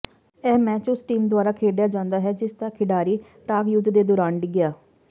ਇਹ ਮੈਚ ਉਸ ਟੀਮ ਦੁਆਰਾ ਖੇਡਿਆ ਜਾਂਦਾ ਹੈ ਜਿਸਦਾ ਖਿਡਾਰੀ ਟਾਗ ਯੁੱਧ ਦੇ ਦੌਰਾਨ ਡਿੱਗਿਆ